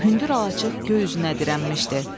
Hündür alaçıq göy üzünə dirənmişdi.